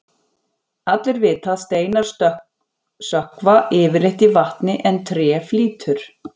Allir vita að steinar sökkva yfirleitt í vatni en tré flýtur.